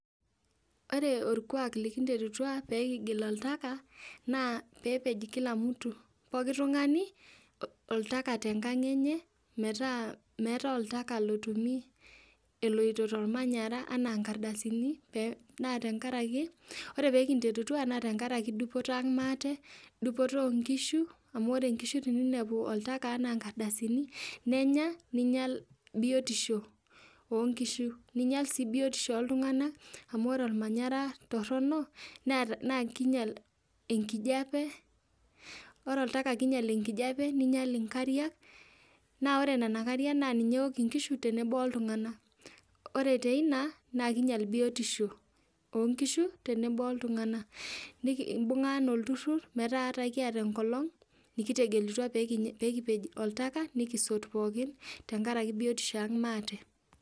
Ore orkuak likinterutua peekigil oltaka naa peepej kila mtu ,pooki tungani oltaka te nkang enye metaa meatae oltaka otumi eloto to ilmanyar anaa i nkardasini naa tengaraki ore piikinterutua naa tengaraki dupoto aang' maate, dupoto onkishu amu ore inkishu teneinepu oltaka anaa nenya neinyal biotisho oonkishu, neinyal sii biotisho oltunganak amu ore olmanyara torono naa keinyal enkijape. Ore oltaka naa keinyal enkijape neinyal inkariak, naa ore nena inkariak naa ninye eok nkishu tenebo oltungana. Ore teina naa keinyal biotisho oonkishu tenebo oltungana, nikimbung'a anaa ilturrur metaa ata kieta enkelong nikitegelutwa peekipej oltaka, nikisot pookin tengaraki biotisho aang' maate.